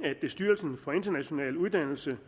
at styrelsen for international uddannelse